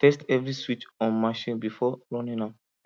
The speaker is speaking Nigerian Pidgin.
test every switch on machine before running am